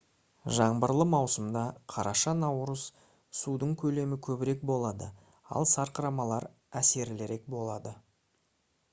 жаңбырлы маусымда қараша-наурыз судың көлемі көбірек болады ал сарқырамалар әсерлірек болады